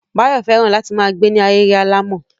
Báyọ̀ fẹ́ràn láti ma gbe ni ahéré alàmọ̀.